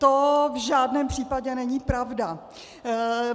To v žádném případě není pravda.